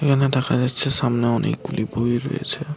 এখানে দেখা যাচ্ছে সামনে অনেকগুলি বই রয়েছে